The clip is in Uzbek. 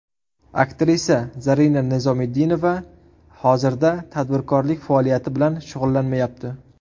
Aktrisa Zarina Nizomiddinova hozirda tadbirkorlik faoliyati bilan shug‘ullanmayapti.